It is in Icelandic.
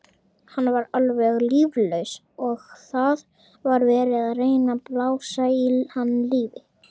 Hann var alveg líflaus og það var verið að reyna að blása í hann lífi.